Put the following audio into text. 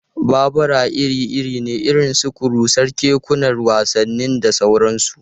Babura iri-iri ne irin su kurusas, kekunan wasanni, da sauransu.